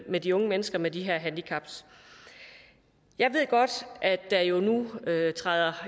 med de unge mennesker med de her handicap jeg ved godt at der jo nu